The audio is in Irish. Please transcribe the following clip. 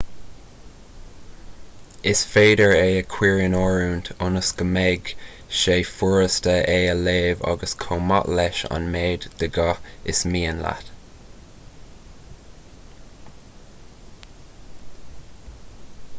is féidir é a chuir in oiriúint ionas go mbeidh sé furasta é a léamh agus chomh maith leis an méid de dhath is mian leat